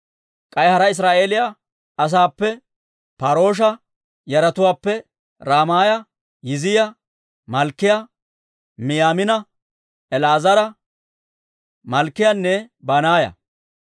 K'ay hara Israa'eeliyaa asaappe: Par"oosha yaratuwaappe Raamiyaa, Yizziyaa, Malkkiyaa, Miyaamiina, El"aazara, Malkkiyaanne Banaaya.